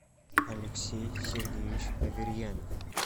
алексей сергеевич аверьянов